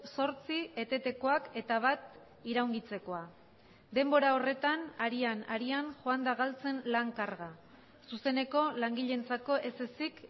zortzi etetekoak eta bat iraungitzekoa denbora horretan harian harian joan da galtzen lan karga zuzeneko langileentzako ez ezik